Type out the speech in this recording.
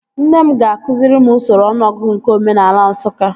Nne m ga-akụziri m usoro ọnụọgụgụ nke omenaala Nsụka